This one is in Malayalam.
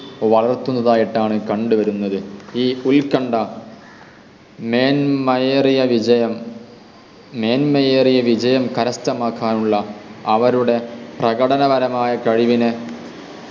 വളർത്തുന്നതായിട്ടാണ് കണ്ടുവരുന്നത് ഈ ഉൽകണ്ഡ മേന്മയേറിയ വിജയം മേന്മയേറിയ വിജയം കരസ്ഥമാക്കാനുള്ള അവരുടെ പ്രകടനവരമായ കഴിവിനെ